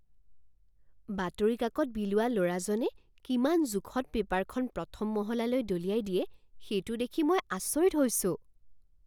বাতৰি কাকত বিলোৱা ল'ৰাজনে কিমান জোখত পেপাৰখন প্ৰথম মহলালৈ দলিয়াই দিয়ে, সেইটো দেখি মই আচৰিত হৈছো।